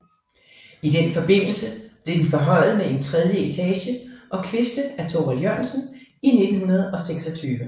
I den forbindelse blev den forhøjet med en tredje etage og kviste af Thorvald Jørgensen i 1926